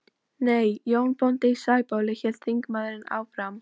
Nei, Jón bóndi í Sæbóli, hélt þingmaðurinn áfram.